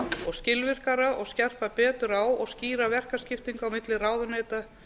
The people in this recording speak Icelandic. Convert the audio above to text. og skilvirkara og skerpa betur á og skýra verkaskiptingu á milli ráðuneyta